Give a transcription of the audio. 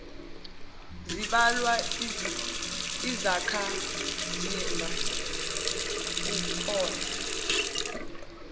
zimbalwa izakhamzimba kukona